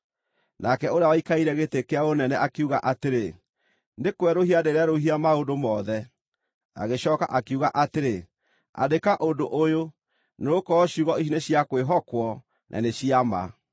Nake ũrĩa waikarĩire gĩtĩ-kĩa-ũnene akiuga atĩrĩ, “Nĩ kwerũhia ndĩrerũhia maũndũ mothe!” Agĩcooka akiuga atĩrĩ, “Andĩka ũndũ ũyũ, nĩgũkorwo ciugo ici nĩ cia kwĩhokwo, na nĩ cia ma.”